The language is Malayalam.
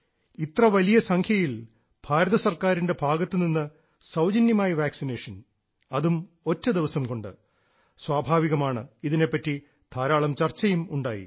ഇത്രവലിയ സംഖ്യയിൽ ഭാരതസർക്കാരിൻറെ ഭാഗത്തുനിന്ന് സൌജന്യമായി വാക്സിനേഷൻ അതും ഒറ്റദിവസം കൊണ്ട് സ്വാഭാവികമാണ് ഇതിനെപ്പറ്റി ധാരാളം ചർച്ചയും ഉണ്ടായി